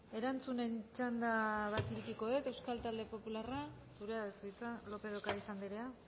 erantzunen txanda bat irekiko dut euskal talde popularra zurea da hitza lópez de ocariz andrea